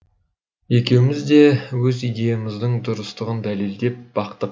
екеуміз де өз идеямыздың дұрыстығын дәлелдеп бақтық